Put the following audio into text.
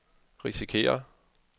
risikerer